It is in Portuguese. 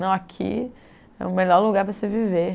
Não, aqui é o melhor lugar para se viver.